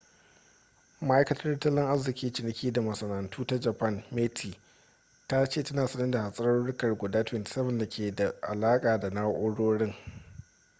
ma’aikatar tattalin arziki ciniki da masana’antu ta japan meti ta ce tana sane da hatsarurruka guda 27 da ke da alaƙa da na’urorin